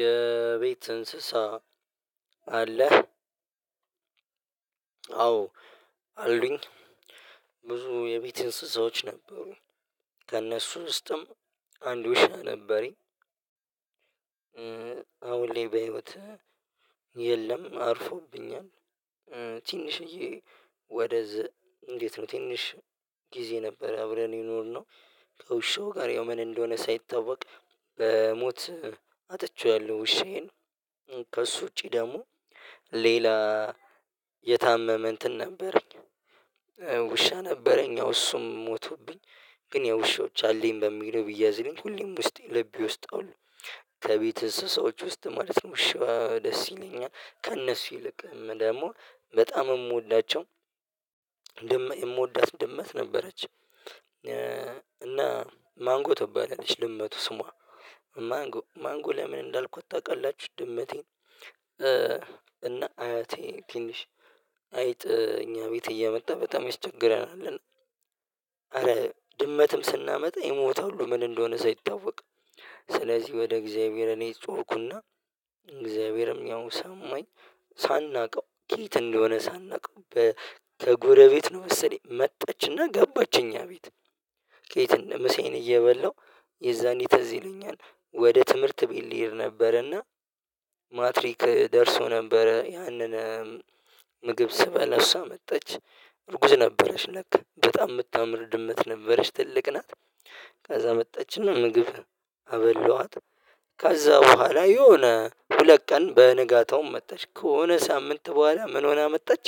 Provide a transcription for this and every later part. የቤት እንስሳ አለህ? አዎ አሉኝ ብዙ የቤት እንስሳዎች ነበሩኝ ከእነሱ ውስጥም አንድ ውሻ ነበረኝ። አሁን ላይ በህይወት የለም አርፎብኛል። ትንሽዬ ወደዛ እንዴት ነው? ትንሽ ጊዜ ነበር አብረን የኖርነው ከውሻው ጋር ያው ምን እንደሆነ ሳይታወቅ በሞት አጥቼዋለሁ። ውሼየን ከእሱ ውጪ ደግሞ ሌላ የታመመ እንትን ነበረኝ። ውሻ ነበረኝ አዎ እሱም ሞተብኝ። ግን ያው ውሾች አለኝ በሚለው ቢያዝልኝ ሁሌም ውስጤ ልቤ ዉስጥ አሉ ከቤት እንስሳዎች ውስጥ ማለት ነው። ውሻ ደስ ይለኛል ከእነሱ ይልቅም ደግሞ በጣም የምወዳቸው የምወዳት ድመት ነበረች። እና ማንጎ ትባላለች ድመቷ ስሟ ማንጎ ማንጎ ለምን እንዳልኳት ታውቃላችሁ? ድመቴን እና አያቴን ትንሽ አይጥ እኛ ቤት እየመጣ በጣም ያስቸግራናል ኧረ። ድመትም ስናመጣ ይሞታሉ ምን እንደሆነ ሳይታወቅ ስለዚህ ወደ እግዚአብሔር እኔ ጮህኩና እግዚአብሔርም ያው ሰማኝ። ሳናውቀው ከየት እንደሆነ ሳናውቀው ከ ከጎረቤት ነው መሰለኝ መጣችና ገባች። እኛ አቤት ከየት እንደ ምሳየን እየበላሁ የዛኔ ትዝ ይለኛል። ወደ ትምህርት ቤት ልሄድ ነበር እና ማትሪክ ደርሶ ነበረ ያንን ምግብ ስበላ እሷ መጣች። እርጉዝ ነበረች ለካ በጣም የምታምር ድመት ነበረች ትልቅ ናት። ከዛ መጣችና ምግብ አበላዋት ከዛ በኋላ የሆነ ሁለት ቀን በንጋታውም መጣች ከሆነ ሳምንት በኋላ ምን ሆና መጣች።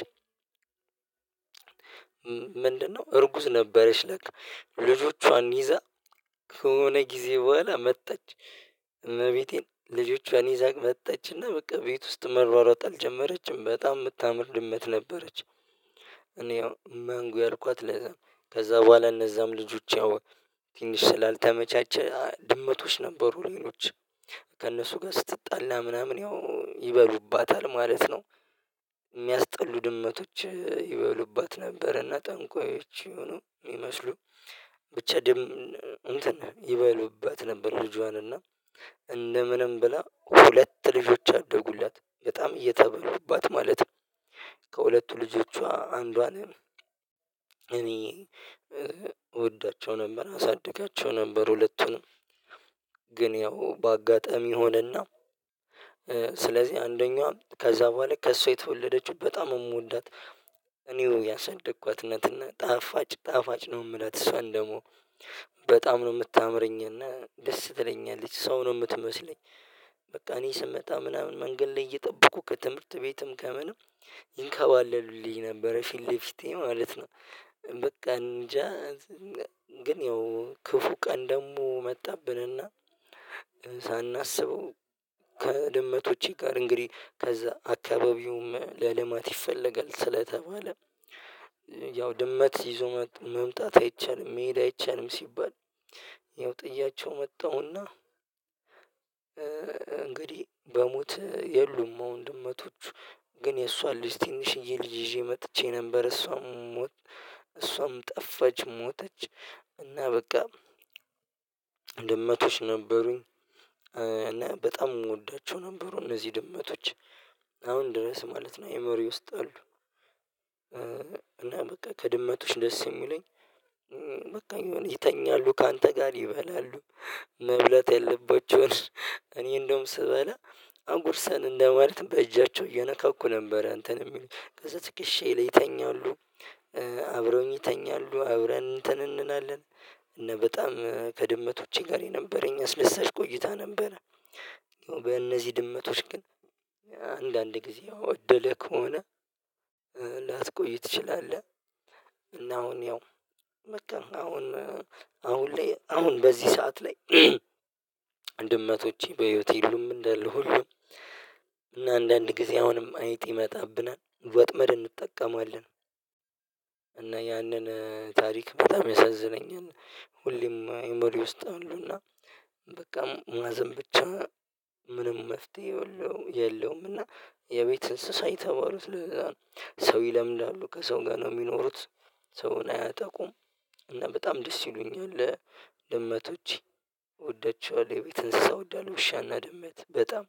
ምንድንነው እርጉዝ ነበረች? ለካ ልጆቿን ይዛ ከሆነ ጊዜ በኋላ መጣች እመቤቴን ልጆቿን ይዛ መጣችና በቃ ቤት ውስጥ መሯሯጥ አልጀመረችም በጣም የምታምር ድመት ነበረች። እኔ ያው ማንጎ ያልኳት ለዛ ከዛ በኋላ እነዛም ልጆች ያው ትንሽ ስላልተመቻቸ ድመቶች ነበሩ ሌሎች ከእነሱ ጋር ስትጣላ ምናምን ያው ይበሉባታል ማለት ነው። የሚያስጠሉ ድመቶች ይበሉባት ነበርና ጠንቋዮች ይሁኑ የሚመመስሉ ብቻ ድም እንትን ይበሉባት ነበር ልጇን እና እንደ ምንም ብላ ሁለት ልጆች አደጉላት በጣም እየተበሉባት ማለት ነው። ከሁለቱ ልጆቿ አንዷን እኔ እወዳቸው ነበር አሳድጋቸው ነበር ሁለቱንም ግን ያው በአጋጣሚ ሆነና። ስለዚህ አንደኛው ከዛ በኋላ ከእሷ የተወለደችው በጣም የምወዳት እኔው ያሳደግኳት እና ጣፋጭ ጣፋጭ ነው። የምላት እሷን ደግሞ በጣም ነው የምታምረኝ እና ደስ ትለኛለች ሰው ነው የምትመስለኝ። በቃ እኔ ስመጣ ምናምን መንገድ ላይ እየጠበቁ ከትምህርት ቤትም ከምንም ይንከባለሉልኝ ነበረ ፊት ለፊቴ ማለት ነው። በቃ እንጃ ግን ያው ክፉ ቀን ደግሞ መጣብንና። ሳናስበው ከድመቶቼ ጋር እንግዲህ ከዛ አካባቢውም ለልማት ይፈለጋል ስለተባለ ያው ድመት ይዞ መጥ መምጣት አይቻልም መሄድ አይቻልም ሲባል። ያው ጥያቸው መጣሁ እና እንግዲህ በሞት የሉም። አሁን ድመቶቹ ግን የእሷን ልጅ ትንሽዬ ልጅ ይዤ መጥቼ ነበር እሷም ሞት እሷም ጠፋች ሞተች። እና በቃ ድመቶች ነበሩኝ እና በጣም የምወዳቸው ነበሩ እነዚህ ድመቶች አሁን ድረስ ማለት ነው አእምሮየ ውስጥ አሉ። እና በቃ ከድመቶች ደስ የሚለኝ በቃ የሆነ ይተኛሉ ካንተ ጋር ይበላሉ። መብላት ያለባቸውን እኔ እንደውም ስበላ አጉርሰን እንደ ማለት በእጃቸው እየነካኩ ነበር እንትን የሚሉኝ ከዛ ትክሼየ ላይ ይተኛሉ። አብረውኝ ይተኛሉ አብረን እንትን እንላለን እና በጣም ከድመቶቼ ጋር የነበረኝ አስደሳች ቆይታ ነበረ። በእነዚህ ድመቶች ግን አንዳንድ ጊዜ ያው እድልህ ከሆነ ላትቆይ ትችላለህ። እና አሁን ያው በቃ አሁን አሁን ላይ አሁን በዚህ ሰዓት ላይ ድመቶቼ በህይወቴ የሉም። እንዳለ ሁሉም እና አንዳንድ ጊዜ አሁንም አይጥ ይመጣብናል ወጥመድ እንጠቀማለን። እና ያንን ታሪክ በጣም ያሳዝነኛል። ሁሌም የአእምሮየ ውስጥ አሉ እና በቃ ማዘን ብቻ ምንም መፍትሄ የለው የለውም። እና የቤት እንስሳ የተባሉት ለዛነው። ሰው ይለምዳሉ ከሰው ጋር ነው የሚኖሩት። ሰውን አያጠቁም እና በጣም ደስ ይሉኛል። ድመቶች እወዳቸዋለሁ የቤት እንስሳ እወዳለሁ። ውሻና ድመት በጣም